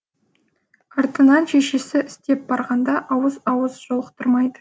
артынан шешесі іздеп барғанда ауыз ауыз жолықтырмайды